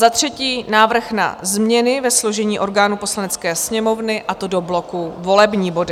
Za třetí návrh na změny ve složení orgánů Poslanecké sněmovny, a to do bloku Volební body.